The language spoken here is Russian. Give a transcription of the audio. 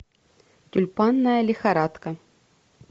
тюльпанная лихорадка